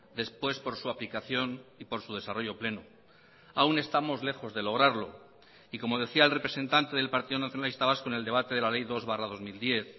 después por su aplicación y por su desarrollo pleno aún estamos lejos de lograrlo y como decía el representante del partido nacionalista vasco en el debate de la ley dos barra dos mil diez